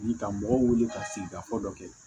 ka mɔgɔw wuli ka sigikafɔ dɔ kɛ